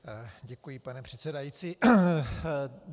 Děkuji, pane předsedající.